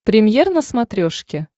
премьер на смотрешке